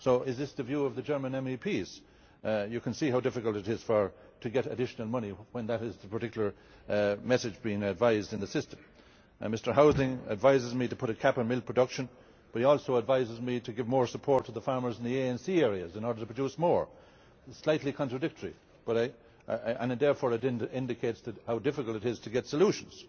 So is this the view of the German MEPs? You can see how difficult it is to get additional money when that is the particular message being advised in the system. Mr Häusling advises me to put a cap on milk production, but he also advises me to give more support to the farmers in the ANC areas in order to produce more slightly contradictory, and it therefore indicates how difficult it is to get solutions.